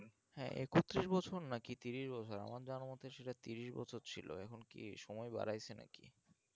হ্যাঁ একতিরিশ বছর নাকি তিরিশ বছর আমার জানা মতে ছিল তিরিশ বছর ছিল এখন কি সময় বাড়াইছে নাকি